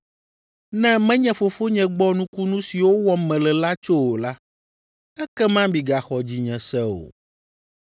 Ne menye Fofonye gbɔ nukunu siwo wɔm mele la tso o la, ekema migaxɔ dzinye se o.